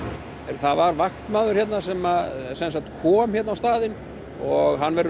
það var vaktmaður hérna sem að kom á staðinn og hann verður